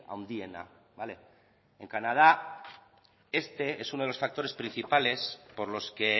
handiena vale en canadá este es uno de los factores principales por los que